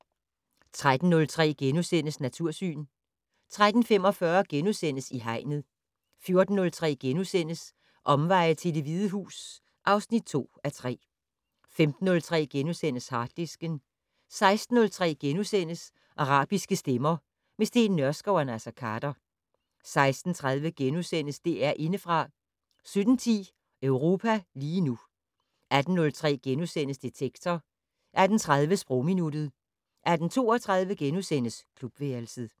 13:03: Natursyn * 13:45: I Hegnet * 14:03: Omveje til Det Hvide Hus (2:3)* 15:03: Harddisken * 16:03: Arabiske stemmer - med Steen Nørskov og Naser Khader * 16:30: DR Indefra * 17:10: Europa lige nu 18:03: Detektor * 18:30: Sprogminuttet 18:32: Klubværelset *